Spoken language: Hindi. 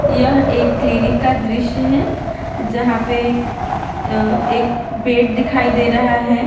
यह एक क्लीनिक का दृश्य है जहां पे अ एक बेड दिखाई दे रहा है।